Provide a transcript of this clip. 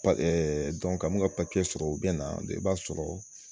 ka ninnu ka papiye sɔrɔ u bɛ na i b'a sɔrɔ.